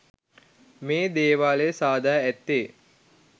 මේ දේවාලය සාදා ඇත්තේ